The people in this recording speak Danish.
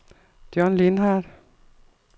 John Lindhardt